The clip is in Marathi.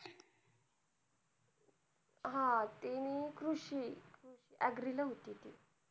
हा. ती कृषी agree ला होती ती.